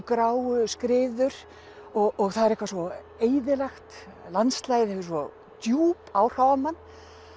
gráu skriður og það er eitthvað svo eyðilegt landslagið hefur svo djúp áhrif á mann